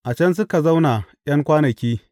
A can suka zauna ’yan kwanaki.